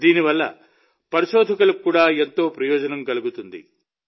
దీనివల్ల పరిశోధకులకు కూడా మరో ప్రయోజనం కలుగుతుంది